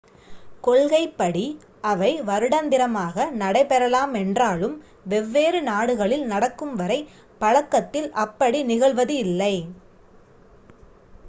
கொள்கைப் படி அவை வருடந்திரமாக நடை பெறலாமென்றாலும் வெவ்வேறு நாடுகளில் நடக்கும் வரை பழக்கத்தில் அப்படி நிகழ்வதில்லை